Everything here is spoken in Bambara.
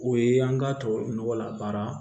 O ye an k'a tubabu nɔgɔ la baara